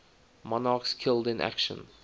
monarchs killed in action